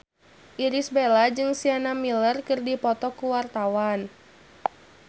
Irish Bella jeung Sienna Miller keur dipoto ku wartawan